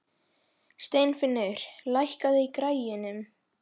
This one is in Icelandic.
Steinfinnur, lækkaðu í græjunum.